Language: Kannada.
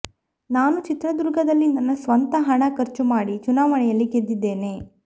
ನಾನು ಚಿತ್ರದುರ್ಗದಲ್ಲಿ ನನ್ನ ಸ್ವಂತ ಹಣ ಖರ್ಚು ಮಾಡಿ ಚುನಾವಣೆಯಲ್ಲಿ ಗೆದ್ದಿದ್ದೇನೆ